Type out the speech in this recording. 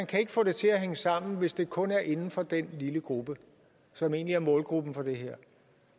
kan få det til at hænge sammen hvis det kun er inden for den lille gruppe som egentlig er målgruppen for det her